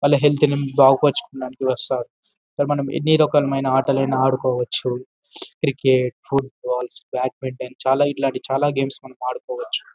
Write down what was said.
వాళ్ళ హెల్త్ ని బాగు పరచుకోడానికి వస్తారు ఇక్కడ మనం ఎన్నిరకాలమైన ఆటలైనా ఆడుకోవచ్చు క్రికెట్ పుట్బాల్ బ్యాడ్మెంటేన్ చాలా ఇట్లాంటి చాలా గేమ్స్ మనం ఆడుకోవచ్చు.